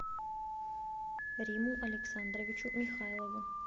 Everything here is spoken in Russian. риму александровичу михайлову